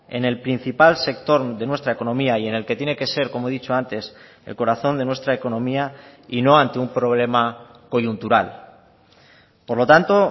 en el principal sector de nuestra economía y en el que tiene que ser como he dicho antes el corazón de nuestra economía y no ante un problema coyuntural por lo tanto